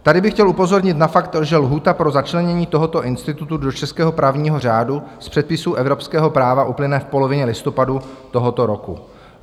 Tady bych chtěl upozornit na fakt, že lhůta pro začlenění tohoto institutu do českého právního řádu z předpisů evropského práva uplyne v polovině listopadu tohoto roku.